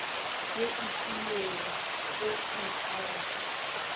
ye e filwegoi ka go